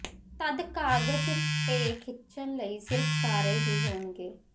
ਤਦ ਕਾਗਜ਼ ਤੇ ਖਿੱਚਣ ਲਈ ਸਿਰਫ ਸਾਰੇ ਹੀ ਹੋਣਗੇ